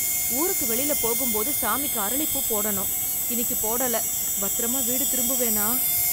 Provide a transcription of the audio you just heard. ஊருக்கு வெளில போகும் போது சாமிக்குப் அரளிப்பூ போடணும் இன்னைக்கு போடல பத்திரமா வீடு திரும்புவேனா?